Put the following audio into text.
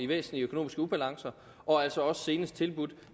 væsentlige økonomiske ubalancer og altså senest tilbudt